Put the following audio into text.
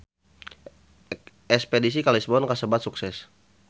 Espedisi ka Lisbon kasebat sukses